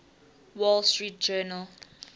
wall street journal